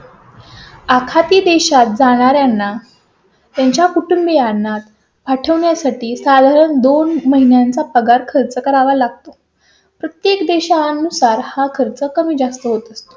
आखाती देशात जाणार ना त्यांच्या कुटुंबीयांना पाठवण्या साठी साधारण दोन महिन्यांचा पगार खर्च करावा लागतो. प्रत्येक देशा नुसार हा खर्च कमी जास्त होत.